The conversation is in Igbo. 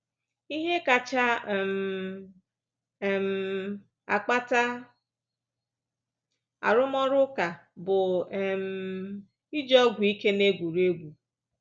Ihe kacha um um akpata arụmọrụ ụka bụ um ịji ọgwụ ike n'égwùrégwú.